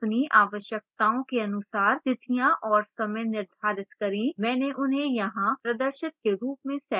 अपनी आवश्यकताओं के अनुसार तिथियां और समय निर्धारित करें मैंने उन्हें यहाँ प्रदर्शित के रूप में set किया है